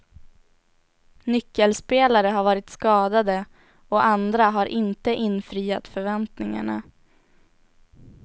Nyckelspelare har varit skadade och andra har inte infriat förväntningarna.